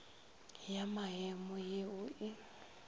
ya memo ye o e